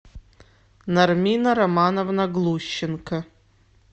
нармина романовна глущенко